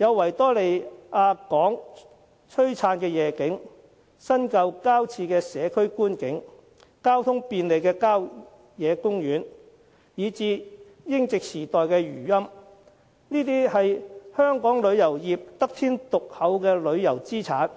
有維多利亞港的璀璨夜景、新舊交織的社區觀景、交通便利的郊野公園，以至英殖時代的餘韻，這些都是香港旅遊業得天獨厚的旅遊資產。